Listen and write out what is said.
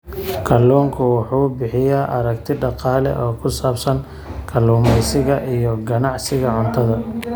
Kalluunku wuxuu bixiyaa aragti dhaqaale oo ku saabsan kalluumeysiga iyo ka ganacsiga cuntada.